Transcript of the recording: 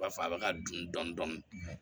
Ba fɔ a bɛ ka dun dɔni dɔni